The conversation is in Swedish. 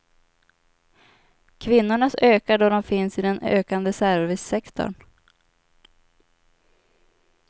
Kvinnornas ökar då de finns i den ökande servicesektorn.